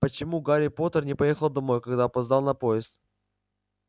почему гарри поттер не поехал домой когда опоздал на поезд